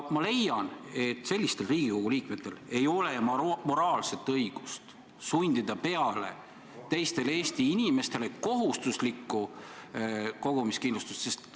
Ma leian, et sellistel Riigikogu liikmetel ei ole moraalset õigust sundida teistele Eesti inimestele peale kohustuslikku kogumist.